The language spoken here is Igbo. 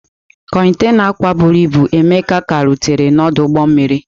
Kontaịna akwa bụrụ ibu Emeka ka rutere n'ọdụ ụgbọ mmiri.